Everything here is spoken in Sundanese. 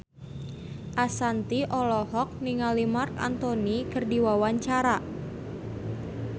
Ashanti olohok ningali Marc Anthony keur diwawancara